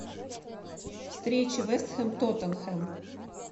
встреча вест хэм тоттенхэм